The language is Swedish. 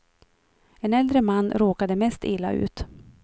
En äldre man råkade mest illa ut.